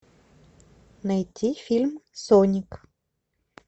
найти фильм соник